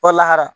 Walahara